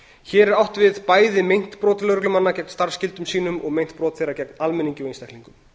hér er átt við bæði meint brot lögreglumanna gegn starfsskyldum sínum og meint brot þeirra gegn almenningi og einstaklingum